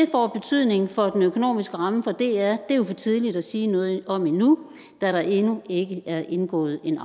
får betydning for den økonomiske ramme for dr er jo for tidligt at sige noget om endnu da der endnu ikke er indgået en